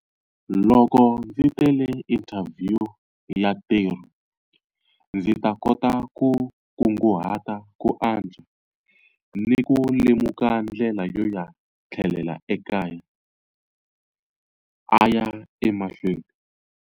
Loko ndzi tele inthavhiyu ya ntirho, ndzi ta kota ku kunguhata ku antswa ni ku lemuka ndlela yo ya tlhelela ekaya, a ya emahlweni.